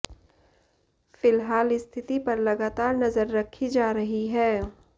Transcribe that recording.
फिलहाल स्थिति पर लगातार नजर रखी जा रही है